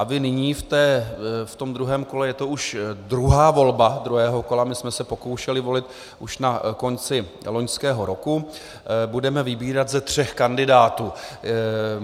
A vy nyní v tom druhém kole, je to už druhá volba druhého kola, my jsme se pokoušeli volit již na konci loňského roku, budeme vybírat ze třech kandidátů.